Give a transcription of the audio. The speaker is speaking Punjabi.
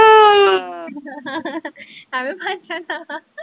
ਅਵੇ ਬਨ ਜਾਣਾ